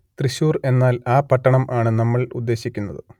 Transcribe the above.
തൃശ്ശൂർ എന്നാൽ ആ പട്ടണം ആണ് നമ്മൾ ഉദ്ദേശിക്കുന്നത്